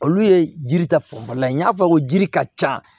Olu ye jiri ta fanfɛla ye n y'a fɔ jiri ka ca